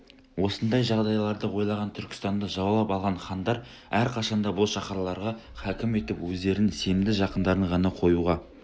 осындай жағдайларды ойлаған түркістанды жаулап алған хандар әрқашан да бұл шаһарларға хакім етіп өздерінің сенімді жақындарын ғана қоюға